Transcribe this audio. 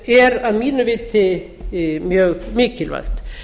er að mínu viti mjög mikilvægt